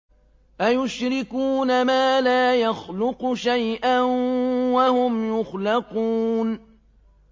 أَيُشْرِكُونَ مَا لَا يَخْلُقُ شَيْئًا وَهُمْ يُخْلَقُونَ